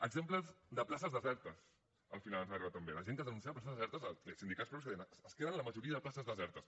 exemples de places desertes al final ens han arribat també de gent que denuncia places desertes sindicats propis que deien es queden la majoria de places desertes